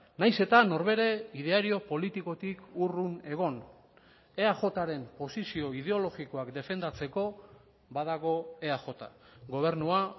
nahiz eta norbere ideario politikotik urrun egon eajren posizio ideologikoak defendatzeko badago eaj gobernua